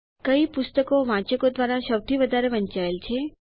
કઈ પુસ્તકો વાંચકો દ્વારા સૌથી વધુ વંચાયેલ છે